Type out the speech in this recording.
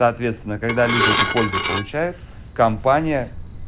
соответственно когда люди эту пользу получают компания